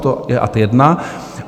To je ad jedna.